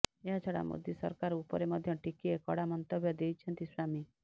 ଏହାଛଡା ମୋଦି ସରକାର ଉପରେ ମଧ୍ୟ ଟିକିଏ କଡା ମନ୍ତବ୍ୟ ଦେଇଛନ୍ତି ସ୍ୱାମୀ